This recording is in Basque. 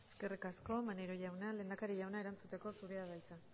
eskerrik asko maneiro jauna lehendakari jauna erantzuteko zurea da hitza